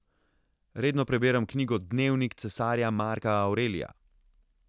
Redno prebiram knjigo Dnevnik cesarja Marka Avrelija.